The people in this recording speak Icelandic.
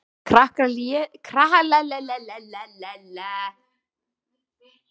Krakkarnir létu eins og þau heyrðu ekki í þeim.